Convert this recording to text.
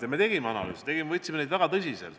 Ja me tegime analüüse, võttes neid väga tõsiselt.